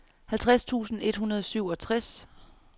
halvtreds tusind et hundrede og syvogtres